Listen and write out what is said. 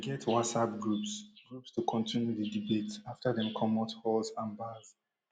dem get whatsapp groups groups to kontinu di debate afta dem comot halls and bars